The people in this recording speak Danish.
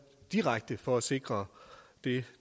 direkte for at sikre det